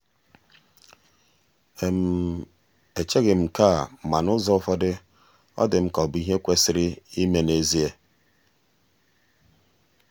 echeghị m nke a ma n'ụzọ ụfọdụ ọ dị m ka ọ bụ ihe kwesịrị ime n’ezie.